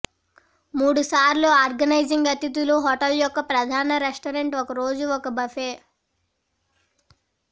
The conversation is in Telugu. మూడు సార్లు ఆర్గనైజింగ్ అతిథులు హోటల్ యొక్క ప్రధాన రెస్టారెంట్ ఒక రోజు ఒక బఫే